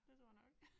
Det tror jeg nok